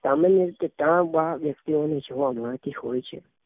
સામાન્ય રીતે કામ વાળા વ્યક્તિઓ ને જોવા મળતી હોઈ છે